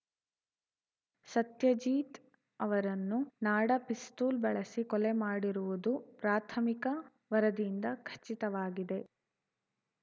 ಸತ್ಯಜೀತ್‌ ಅವರನ್ನು ನಾಡ ಪಿಸ್ತೂಲ್‌ ಬಳಸಿ ಕೊಲೆ ಮಾಡಿರುವುದು ಪ್ರಾಥಮಿಕ ವರದಿಯಿಂದ ಖಚಿತವಾಗಿದೆ